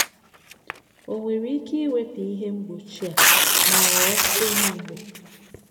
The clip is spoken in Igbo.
O nwere ike iwepụ ihe mgbochi a ma ghọọ onye Igbo?